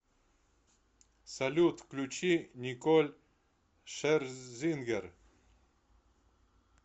салют включи николь шерзингер